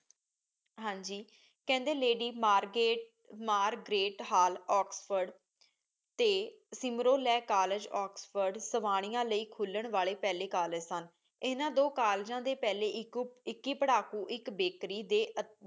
ਹਾਜੀ ਕਹਿੰਦੇ lady mark Margaret hall Oxford ਟੀ ਸਿਮਰੋ ਲੇ ਕੋਲ੍ਲੇਗੇ ਓਕ੍ਸ੍ਫੋਰਡ ਸਵਾਨਿਯਾ ਲੈ ਖੁਲਨ ਪਹਲੀ ਕੋਲ੍ਲੇਗੇ ਸਨ ਇੰਨਾ ਦੋ ਕੋਲ੍ਲੇਗਾਂ ਡੀ ਪਹਲੀ ਇਕਿ ਪਰ੍ਹਾਕੂ ਇਕ ਬਕ਼ਰੀ ਡੀ